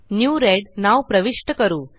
new red नाव प्रविष्ट करू